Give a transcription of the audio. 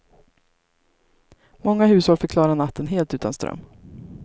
Många hushåll fick klara natten helt utan ström.